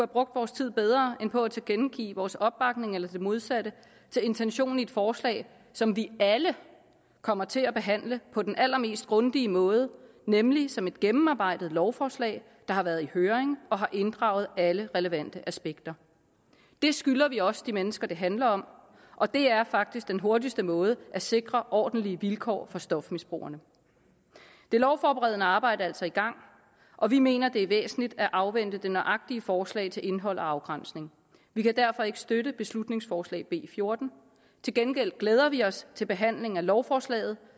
brugt vores tid bedre end på at tilkendegive vores opbakning eller det modsatte til intentionen i et forslag som vi alle kommer til at behandle på den allermest grundige måde nemlig som et gennemarbejdet lovforslag der har været i høring og har inddraget alle relevante aspekter det skylder vi også de mennesker det handler om og det er faktisk den hurtigste måde at sikre ordentlige vilkår for stofmisbrugerne det lovforberedende arbejde er altså i gang og vi mener at det er væsentligt at afvente det nøjagtige forslag til indhold og afgrænsning vi kan derfor ikke støtte beslutningsforslag nummer b fjortende til gengæld glæder vi os til behandling af lovforslaget